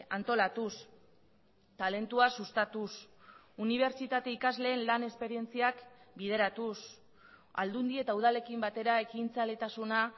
antolatuz talentua sustatuz unibertsitate ikasleen lan esperientziak bideratuz aldundi eta udalekin batera ekintzaletasuna